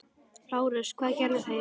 LÁRUS: Hvað gerðu þeir?